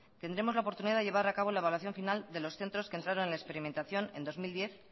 tendremos la oportunidad de llevar a cabo la evaluación final de los centros que entraron en experimentación en dos mil diez